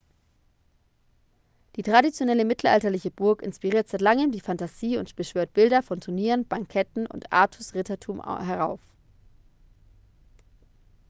die traditionelle mittelalterliche burg inspiriert seit langem die fantasie und beschwört bilder von turnieren banketten und artus-rittertum herauf